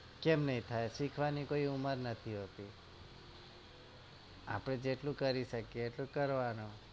કેમ નઈ થાય શીખવાની કોઈ ઉમર નથી હોતી આપડે જેટલું કરી શકીએ એટલું કરવાનું